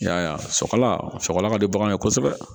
I y'a ye a sɔgɔla a sɔgɔla ka di baganw ye kosɛbɛ